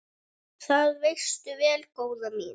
Það veistu vel, góða mín.